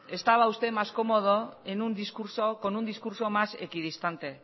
estaba usted más cómodo con un discurso más equidistante